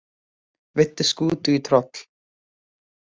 Veiddu skútu í troll